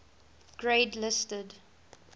grade listed